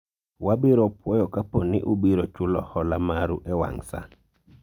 wabiro puoyo kapo ni ubiro chulo hola maru e wang' saa